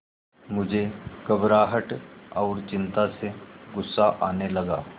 मुझे घबराहट और चिंता से गुस्सा आने लगा